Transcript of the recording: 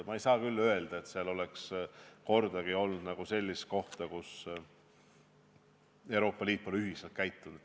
Ma ei saa küll öelda, et seal oleks kordagi olnud sellist kohta, kus Euroopa Liit poleks ühiselt käitunud.